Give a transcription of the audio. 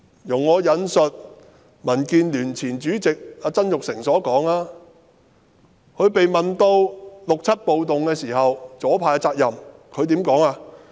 容許我引述民建聯前主席曾鈺成的說話，他被問及1967年暴動中左派的責任時，如何回應呢？